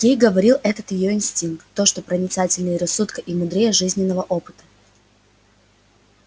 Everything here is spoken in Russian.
ей говорил этот её инстинкт то что проницательнее рассудка и мудрее жизненного опыта